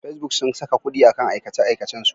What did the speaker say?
Facebook sun saka kuɗi a kan aikace-aikacensu.